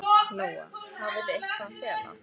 Lóa: Hafið þið eitthvað að fela?